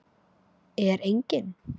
Er enginn?